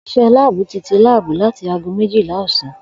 Òs̩ìs̩é̩ láàbù ti ti láàbù láti aago méjìlá ò̩sán